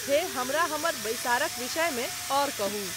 हे हमरा हमर बैठक क विषय में अउर कहूं